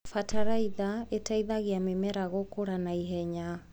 Bataraitha ĩteithagia mĩmera gũkũra ihenya.